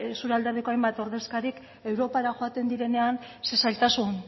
zure alderdiko hainbat ordezkarik europara joaten direnean zein zailtasun